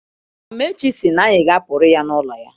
Amaechi sị na anyị ga-apụrụ ya n'ụlọ ya.